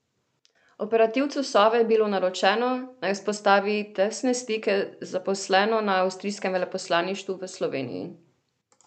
Operativcu Sove je bilo naročeno, naj vzpostavi tesne stike z zaposleno na avstrijskem veleposlaništvu v Sloveniji.